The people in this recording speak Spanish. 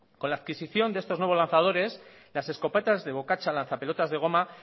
con la adquisición de estos nuevos lanzadores las escopetas de bocacha lanzapelotas de goma